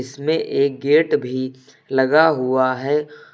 इसमें एक गेट भी लगा हुआ है।